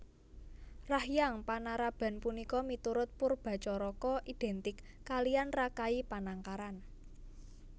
Rahyang Panaraban punika miturut Poerbatjaraka identik kaliyan Rakai Panangkaran